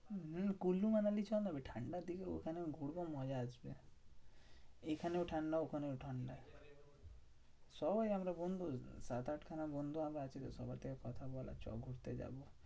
হম কুল্লু মানালি চনা বে, ঠান্ডার দিনে ওখানে ঘুরবো মজা আসবে। এখানেও ঠান্ডা ওখানেও ঠান্ডা। সবাই আমরা বন্ধু সাত আটখানা বন্ধু আমরা আছিতো, সবার থেকে কথা বল চো ঘুরতে যাবো।